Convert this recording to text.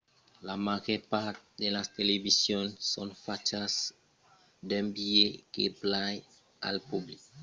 la màger part de las televisions son fachas d'un biais que plai al public general